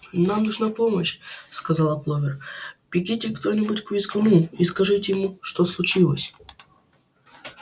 нам нужна помощь сказала кловер бегите кто-нибудь к визгуну и скажите ему что случилось